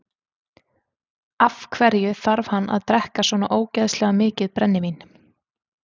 Af hverju þarf hann að drekka svona ógeðslega mikið brennivín?